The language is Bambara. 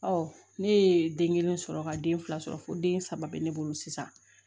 ne ye den kelen sɔrɔ ka den fila sɔrɔ fo den saba be ne bolo sisan